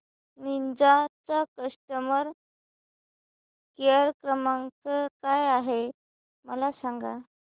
Ninja चा customer care क्रमांक काय आहे मला सांगा